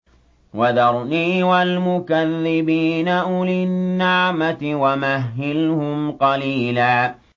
وَذَرْنِي وَالْمُكَذِّبِينَ أُولِي النَّعْمَةِ وَمَهِّلْهُمْ قَلِيلًا